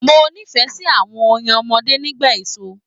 Mo nífẹẹ sí àwọn orin ọmọdé nípa èso.